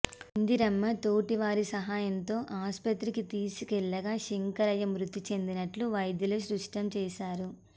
ఇందిరమ్మ తోటి వారి సహాయంతో ఆస్పత్రికి తీసుకెళ్లగా శంకరయ్య మృతిచెందినట్లు వైద్యులు స్పష్టం చేశారు